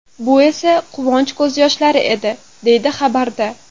Bu esa quvonch ko‘z yoshlari edi”, deyiladi xabarda.